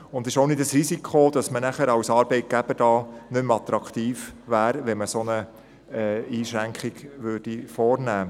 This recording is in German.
Es besteht auch kein Risiko, dass man als Arbeitgeber nicht mehr attraktiv wäre, wenn man eine solche Einschränkung vornehmen würde.